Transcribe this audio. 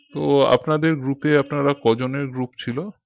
তো আপনাদের group এ আপনারা কজনের group ছিল